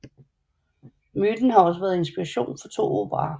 Myten har også været inspiration for to operaer